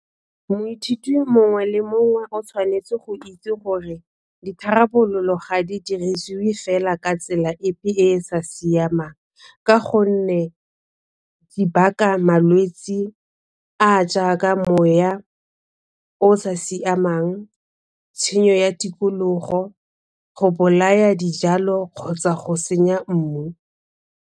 Moithuti mongwe le mongwe o tshwanetse go itse gore ditharabololo ga di dirisiwe fela ka tsela epe e e sa siamang ka gonne di baka malwetsi a a jaaka moya o o sa siamang, tshenyo ya tikologo, go bolaya dijalo kgotsa go senya mmu.